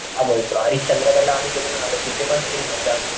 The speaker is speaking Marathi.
काय बोलतो हरिश्चंद्र गडला आम्ही गेलेलो ना तर तिथे पण सेम म्हणजे आम्ही,